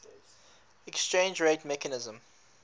exchange rate mechanism